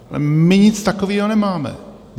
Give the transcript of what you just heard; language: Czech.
My nic takového nemáme.